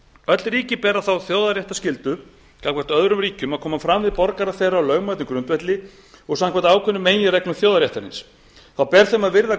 öll ríki bera þá þjóðréttarskyldu gagnvart öðrum ríkjum að koma fram við borgara þeirra á lögmætum grundvelli og samkvæmt ákvörðun meginreglu þjóðaréttarins þá ber þeim að virða